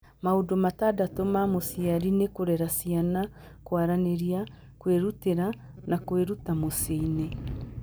Maũndũ matandatũ ma mũciari nĩ kũrera ciana, kwaranĩria, kwĩrutĩra, na kwĩruta mũciĩ-inĩ.